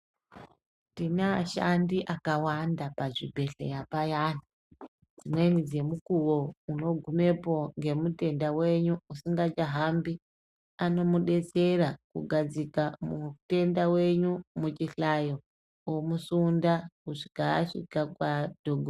Tine ashandi akawanda pazvibhedhleya payani dzimweni dzemukuvo unogumepo ngemutenda venyu usingachahambi. Unomubetsera kugadzika mutenda venyu muchihlayo omusunda kusvika asvika kwatongo.